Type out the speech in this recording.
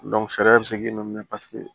fɛɛrɛ bɛ se k'i nɔnɔ minɛ paseke